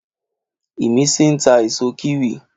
Ìmísí n ta èso kíwì